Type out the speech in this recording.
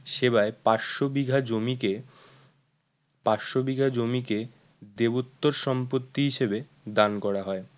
সেবায় পাঁচশো বিঘা জমিকে পাঁচশো বিঘা জমিকে দেবোত্তর সম্পত্তি হিসেবে দান করা হয়